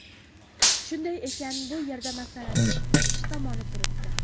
Shunday ekan, bu yerda masalaning ikkinchi tomoni turibdi.